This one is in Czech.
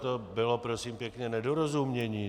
To bylo, prosím pěkně, nedorozumění.